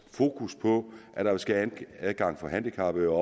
fokus på at der skal være adgang for handicappede og